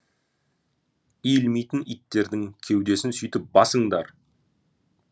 иілмейтін иттердің кеудесін сөйтіп басыңдар